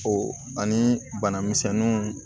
O ani bana misɛnnu